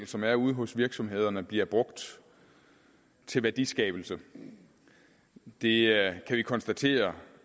som er ude hos virksomhederne bliver brugt til værdiskabelse det kan vi konstatere